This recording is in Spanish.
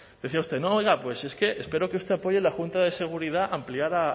decía usted no oiga es que espero que usted apoye la junta de seguridad ampliada